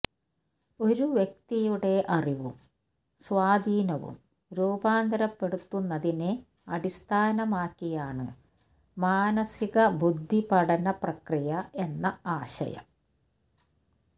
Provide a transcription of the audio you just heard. ഒരു വ്യക്തിയുടെ അറിവും സ്വാധീനവും രൂപാന്തരപ്പെടുത്തുന്നതിനെ അടിസ്ഥാനമാക്കിയാണ് മാനസിക ബുദ്ധിപഠന പ്രക്രിയ എന്ന ആശയം